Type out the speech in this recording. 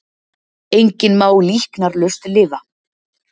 Enginn má líknarlaust lifa.